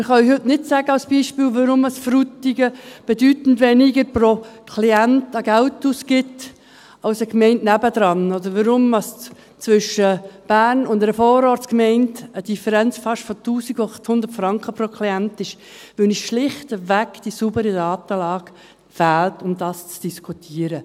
Ein Beispiel: Wir können heute nicht sagen, weshalb Frutigen pro Klient bedeutend weniger Geld ausgibt als eine Gemeinde daneben, oder weshalb es zwischen Bern und einer Vorortsgemeinde pro Klient eine Differenz von fast 1800 Franken gibt, weil uns schlichtweg die saubere Datenlage fehlt, um dies zu diskutieren.